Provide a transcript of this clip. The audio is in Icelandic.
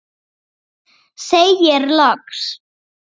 Segir loks